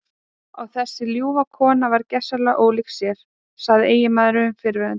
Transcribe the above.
Og þessi ljúfa kona varð gersamlega ólík sjálfri sér, sagði eiginmaðurinn fyrrverandi.